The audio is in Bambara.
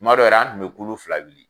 Tuma dɔw yɛrɛ an tun bɛ kulu fila wuli.